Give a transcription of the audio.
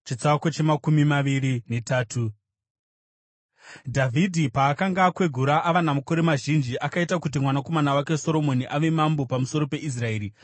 Dhavhidhi paakanga akwegura ava namakore mazhinji, akaita kuti mwanakomana wake Soromoni ave mambo pamusoro peIsraeri.